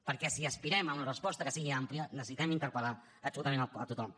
perquè si aspirem a una resposta que sigui àmplia necessitem interpel·lar absolutament a tothom